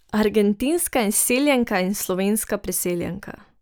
Argentinska izseljenka in slovenska priseljenka.